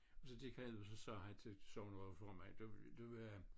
Og så gik han og så sagde han til sognerådsformanden du du øh